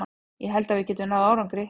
Ég held að við getum náð árangri.